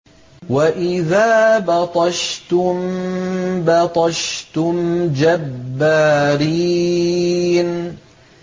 وَإِذَا بَطَشْتُم بَطَشْتُمْ جَبَّارِينَ